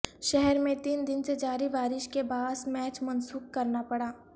شہر میں تین دن سے جاری بارش کے باعث میچ منسوخ کرنا پڑا